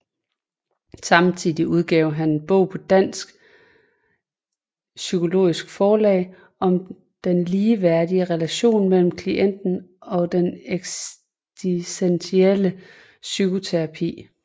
Samtidig udgav han en bog på Dansk Psykologisk Forlag om den ligeværdige relation med klienten i den eksistentielle psykoterapi